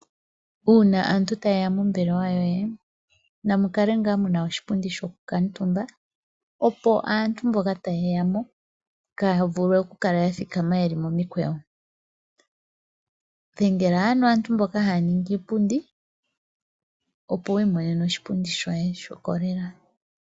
Uuna aantu taye ya mombelewa yoye namu kale ngaa mu na oshipundi sho kukuutumba opo aantu mboka taye ya mo kaaya vulwe okukala ya thikama ye li momikweyo. Dhengela ano aantu mboka haya ningi iipundi opo wi imonene oshipundi shoye sho kolela.